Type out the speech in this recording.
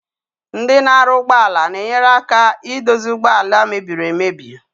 Ndi na aru ugbo ala na-enyere aka idozi ụgbọ ala mebiri emebi.